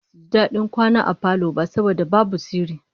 Basu ji dadin kwana a falo ba saboda babu sirri